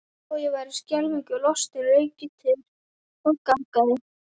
Þó ég væri skelfingu lostinn rauk ég til og gargaði